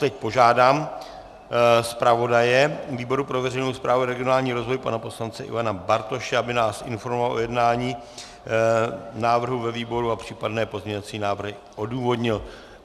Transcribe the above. Teď požádám zpravodaje výboru pro veřejnou správu a regionální rozvoj pana poslance Ivana Bartoše, aby nás informoval o jednání návrhu ve výboru a případné pozměňovací návrhy odůvodnil.